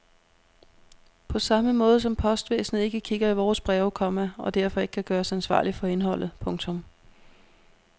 På samme måde som postvæsenet ikke kigger i vores breve, komma og derfor ikke kan gøres ansvarlig for indholdet. punktum